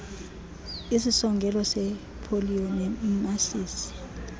isisongelo sepoliyo nemasisi